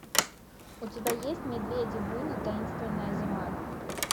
у тебя есть медведи буни таинственная зима